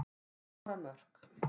Skora mörk.